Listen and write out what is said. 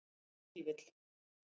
Ef til vill.